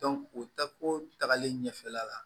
o tako tagalen ɲɛfɛla la